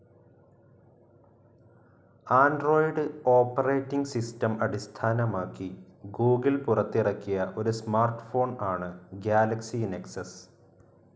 Android operating system അടിസ്ഥാനമാക്കി Google പുറത്തിറക്കിയ ഒരു സ്മാർട്ട്‌ ഫോൺ ആണ്‌ ഗാലക്സി നെക്സസ്.